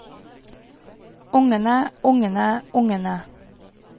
ungene ungene ungene